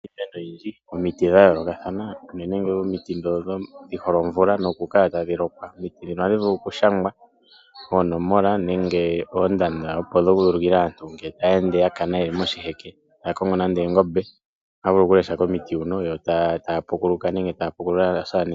Opu na iimene oyindji. omiti dha yoolokathana, unene tuu omiti ndhoka dhi hole omvula nokukala tadhi lokwa. Omiti ndhino ohadhi vulu okushangwa oonomola nenge oondanda opo dhi ulukile aantu uuna ya kana ye li moshiheke taya kongo nande oongombe. Ohaya vulu okulesha komiti huka yo taya pukuluka nenge taya pukulula aasamane.